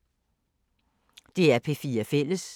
DR P4 Fælles